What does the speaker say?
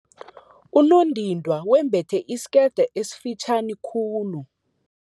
Unondindwa wembethe isikete esifitjhani khulu.